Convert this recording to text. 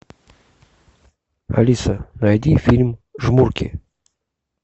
алиса найди фильм жмурки